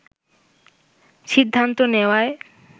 সিদ্ধান্ত নেওয়ায়